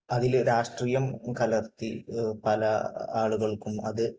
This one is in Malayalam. അതിൽ രാഷ്ട്രീയം കലർത്തി പല ആളുകൾക്കും അത്